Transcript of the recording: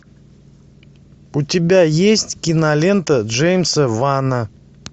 у тебя есть кинолента джеймса вана